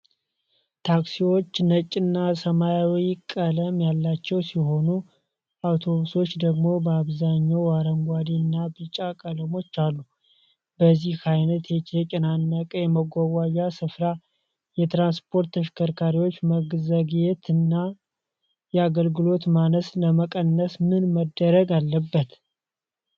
ታክሲዎቹ ነጭና ሰማያዊ ቀለም ያላቸው ሲሆኑ፣ አውቶቡሶች ደግሞ በአብዛኛው አረንጓዴ እና ቢጫ ቀለሞች አሉ። በዚህ ዓይነት የተጨናነቀ የመጓጓዣ ስፍራ፣ የትራንስፖርት ተሽከርካሪዎች መዘግየትን እና የአገልግሎት ማነስን ለመቀነስ ምን መደረግ አለበት?